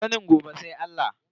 Sanin gobe sai Allah.